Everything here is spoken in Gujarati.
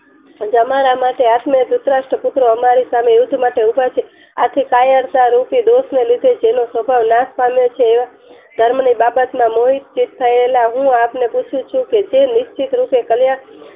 તમારા માટે આત્મીય ભૂતરાષ્ર પુત્રો અમારી સામે યુદ્ધ માટે ઉભા છે. આથી કાયરતા રૂપી દોષ ને લીધે જેનો સ્વભાવ નાશ પામ્યો છે એવા ધર્મની બાબતમાં મોહિતચિત થયેલા હું આપણે પૂછું છું કે જે નિશ્ચિત રૂપે કલ્યાણ